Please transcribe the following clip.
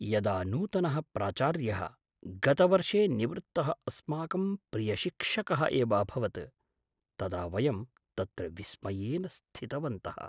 यदा नूतनः प्राचार्यः, गतवर्षे निवृत्तः अस्माकं प्रियशिक्षकः एव अभवत्, तदा वयं तत्र विस्मयेन स्थितवन्तः।